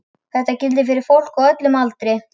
Þetta gildir fyrir fólk á öllum aldri.